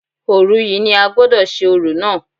Òru yìí ni a gbọ́dọ̀ ṣe orò náà